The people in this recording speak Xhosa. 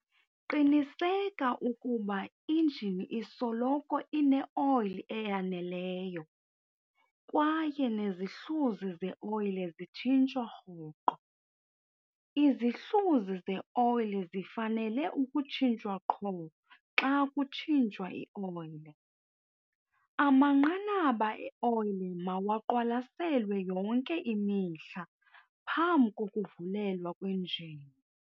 Qiniseka ukuba injini isoloko ineoyile eyaneleyo kwaye nezihluzi zeoyile zitshintshwa rhoqo. Izihluzi zeoyile zifanele ukutshintshwa qho xa kutshintshwa ioyile. Amanqanaba eoyile mawaqwalaselwe yonke imihla phambi kokuvulelwa kwenjini.